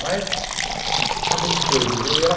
Mas a gente foi vivendo. E ela